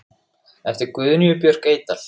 eftir Guðnýju Björk Eydal